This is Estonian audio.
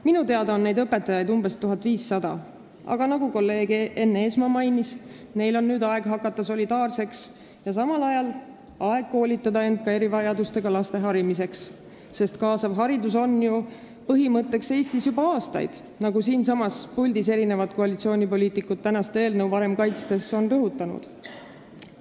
Minu teada on neid õpetajaid umbes 1500, aga nagu kolleeg Enn Eesmaa on maininud, neil on nüüd aeg hakata solidaarseks ja samal ajal aeg koolitada end ka erivajadustega laste harimiseks, sest kaasav haridus on ju Eestis olnud põhimõtteks juba aastaid, nagu siinsamas puldis mitmed koalitsioonipoliitikud eelnõu varem kaitstes on rõhutanud.